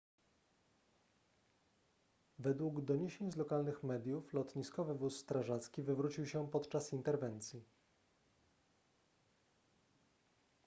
według doniesień z lokalnych mediów lotniskowy wóz strażacki wywrócił się podczas interwencji